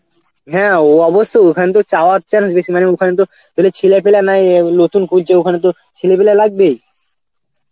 হ্যাঁ ও অবশ্যই ওখান থেকে চাওয়ার chance বেশি মানে ওখানে তো কোন ছেলেপিলা নাই, ঔ নতুন খুলছে ওখানে তো ছেলেপিলা লাগবেই.